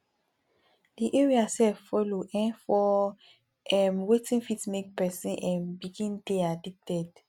di area sef follow um for um wetin fit make person um begin dey addicted